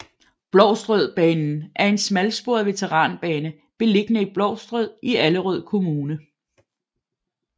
Blovstrød Banen er en smalsporet veteranbane beliggende i Blovstrød i Allerød Kommune